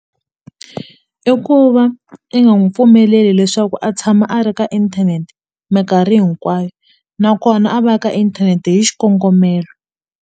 I ku va i nga n'wu pfumeleli leswaku a tshama a ri ka inthanete minkarhi hinkwayo nakona a va ka inthanete hi xikongomelo.